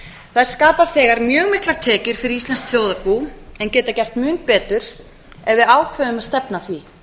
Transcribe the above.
þær skapa þegar mjög miklar tekjur fyrir íslenskt þjóðarbú en geta gert mun betur ef við ákveðum að stefna að því